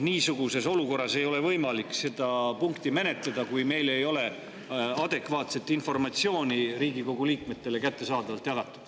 Ei ole võimalik seda punkti menetleda, kui ei ole adekvaatset informatsiooni Riigikogu liikmetele jagatud.